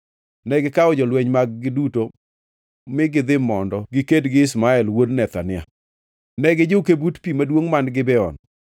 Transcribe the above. negikawo jolweny mag-gi duto mi gidhi mondo giked gi Ishmael wuod Nethania. Ne gijuke but pi maduongʼ man Gibeon.